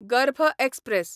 गर्भ एक्सप्रॅस